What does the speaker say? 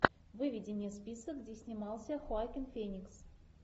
выведи мне список где снимался хоакин феникс